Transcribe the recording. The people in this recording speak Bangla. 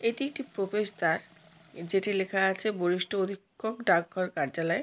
এটি একটি প্রবেশ দাঁর যেটি লেখা আছে বরিষ্ট অধিক্ষক ডাক ঘর কার্যালয়।